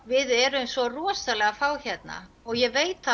við erum svo rosalega fá hérna og ég veit